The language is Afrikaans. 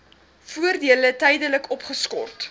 voordele tydelik opgeskort